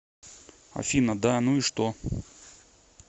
афина да ну и что